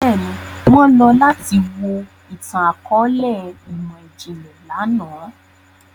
Bẹ́ẹ̀ni, wọn lọ lati wo itan-akọọlẹ imọ-jinlẹ làná.